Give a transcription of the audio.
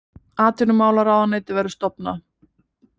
Atvinnumálaráðuneytið verður stofnað